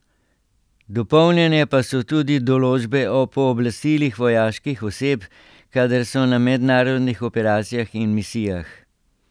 Dopolnjene pa so tudi določbe o pooblastilih vojaških oseb, kadar so na mednarodnih operacijah in misijah.